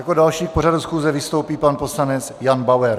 Jako další k pořadu schůze vystoupí pan poslanec Jan Bauer.